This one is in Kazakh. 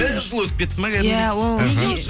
бір жыл өтіп кетті ма кәдімгідей иә ол мхм